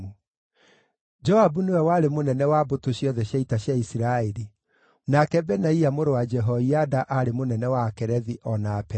Joabu nĩwe warĩ mũnene wa mbũtũ ciothe cia ita cia Isiraeli; nake Benaia mũrũ wa Jehoiada aarĩ mũnene wa Akerethi, o na Apelethi;